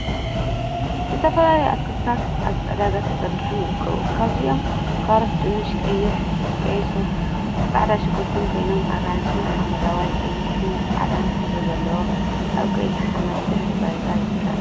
ዝተፈላለዩ ኣትክልቲታት ኣብ ዕዳጋ ተዘርጊሖም ይርከቡ። ካብዚኦም ካሮት፣ ድንሽ፣ ቅይሕ ሱርኝ ጻዕዳ ሽጉርቲን ኮይኖም ኣራንሺ፣ ሓመደዋይ፣ ቀይሕን ጻዕዳን ሕብሪ ዘለዎም ኣብ ቀይሕ ሓመድ ድሕረ ባይታ ይርከቡ።